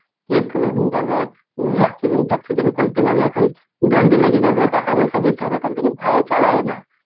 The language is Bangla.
কি এক্ষুনি হয়েন যাবে, accident ফ্যাক্সিডেন্ট করে দেবো নি এখন দন্ডি লেগে যাবে, টাকা পয়সা দিতে হবে. তার লগে ভয় এ চালায় না.